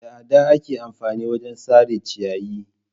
Da adda ake amfani wajen sare ciyayi.